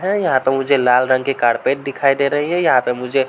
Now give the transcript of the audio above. है यहां पे मुझे लाल रंग कि कारपेट दिखाई दे रही हैं। यहां पे मुझे --